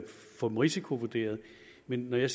få dem risikovurderet men når jeg